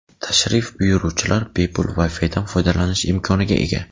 Tashrif buyuruvchilar bepul Wi-Fi dan foydalanish imkoniga ega.